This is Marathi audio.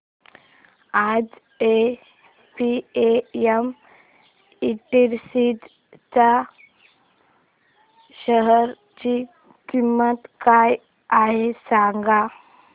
आज एपीएम इंडस्ट्रीज च्या शेअर ची किंमत काय आहे सांगा